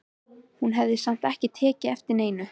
Hún hafði samt ekki tekið eftir neinu.